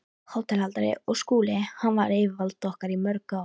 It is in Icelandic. HÓTELHALDARI: Og Skúli- hann var yfirvald okkar í mörg ár.